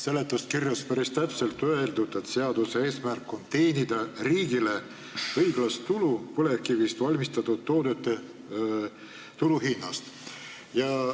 Seletuskirjas on päris täpselt öeldud, et seaduse eesmärk on teenida riigile õiglast tulu, lähtudes põlevkivist valmistatud toodete turuhinnast.